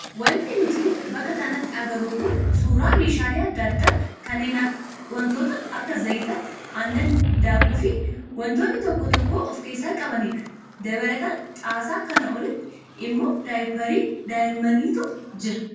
Wanti nuti bakka kanatti agarru kun suuraa meeshaalee adda addaa kanneen wantoota akka zayitaa, aannan daakuu fi wantoonni tokko tokko of keessaa qabanidha. Dabalataan xaasaa kanaa olitti immoo daayipparii daa'immaniitu jira.